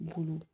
Bolo